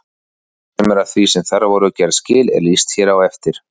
Sumu af því sem þar voru gerð skil er lýst hér á eftir.